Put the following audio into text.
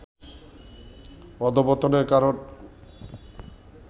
অধঃপতনের কারণ